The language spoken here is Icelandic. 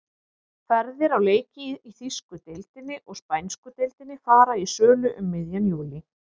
Ferðir á leiki í þýsku deildinni og spænsku deildinni fara í sölu um miðjan júlí.